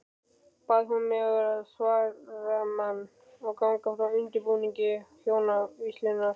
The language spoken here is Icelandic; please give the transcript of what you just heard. Bað hún mig vera svaramann og ganga frá undirbúningi hjónavígslunnar.